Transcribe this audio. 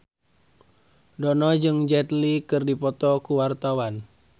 Dono jeung Jet Li keur dipoto ku wartawan